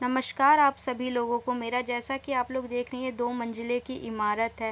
नमस्कार आप सभी लोगो को मेरा जैसा की आप लोग देख रही हैं दो मंजिले की इमारत है।